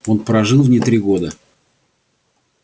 он прожил в ней три года